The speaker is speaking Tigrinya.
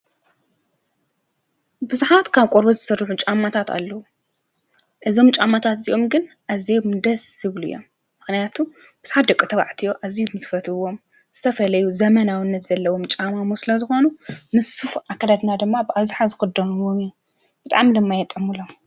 ቡዛሓት ካብ ቆርበት ዝስርሑ ጫማታት ኣለው። እዞም ጫማታት እዚኦም ግን ኣዝዮም ደስ ዝብሉ እዮም። ምክንያቱ ብዙሓት ደቂ ተባዕትዮ ዝፈትውዎም ዝተፈላለዩ ዘመናዊነት ዘለዎም ስለዝኮኑ ምስ ሱፍ ኣከዳድና ድማ ብኣብዛሓ ዝክደኑ ብጣዕሚ ድማ የጥዕመሎም።